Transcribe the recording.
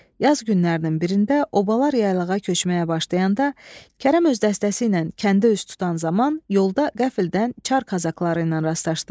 Yaz günlərinin birində obalar yaylığa köçməyə başlayanda Kərəm öz dəstəsi ilə kəndə üz tutan zaman yolda qəfildən Çar qazaxları ilə rastlaşdı.